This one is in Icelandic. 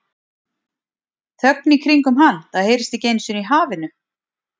Þögn í kringum hann, það heyrist ekki einu sinni í hafinu.